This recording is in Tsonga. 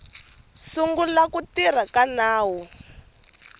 sungula ku tirha ka nawu